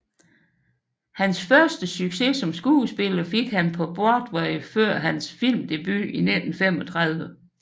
Hans første succes som skuespiller fik han på Broadway før hans filmdebut i 1935